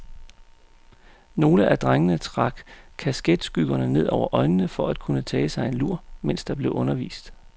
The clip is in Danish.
Nogle af drengene trak kasketskyggerne ned over øjnene for at kunne tage sig en lur, mens der blev undervist.